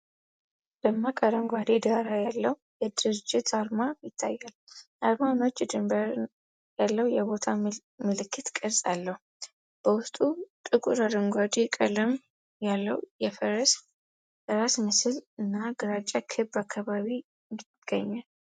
ደማቅ አረንጓዴ ዳራ ያለው የድርጅት አርማ ይታያል። አርማው ነጭ ድንበር ያለው የቦታ ምልክት ቅርጽ አለው። በውስጡ ጥቁር አረንጓዴ ቀለም ያለው የፈረስ ራስ ምስል እና ግራጫ ክብ አካባቢ ይገኛል።